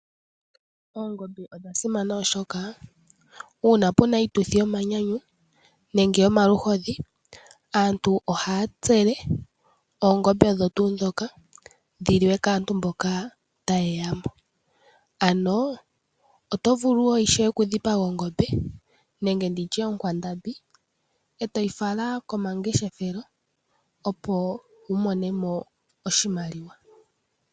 Oongombe odha simana ohoka uuna pena iituthi yomanyanyu nenge yomaluhodhi, aantu ohaa tsele oongombe odho tuu dhoka dhiliwe kaantu mboka taye yamo, ano otovulu woo natango okudhipaga ongombe nenge nditye okwandambi etoyi fala komangeshefelo opo wumone mo oshimaliwa.